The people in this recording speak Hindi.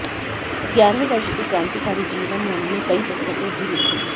ग्यारह वर्ष के क्रान्तिकारी जीवन में उन्होंने कई पुस्तकें भी लिखीं